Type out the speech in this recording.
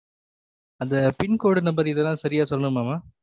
அந்த pincode number இது தானு சரியா சொல்னுமா மா